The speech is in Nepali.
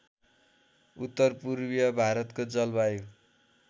उत्तरपूर्वीय भारतको जलवायु